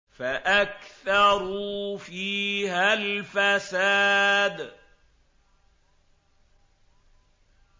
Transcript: فَأَكْثَرُوا فِيهَا الْفَسَادَ